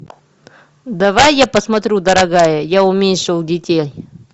давай я посмотрю дорогая я уменьшил детей